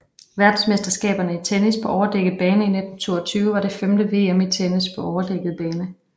Verdensmesterskaberne i tennis på overdækket bane 1922 var det femte VM i tennis på overdækket bane